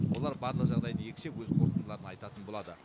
олар барлық жағдайды екшеп өз қорытындыларын айтатын болады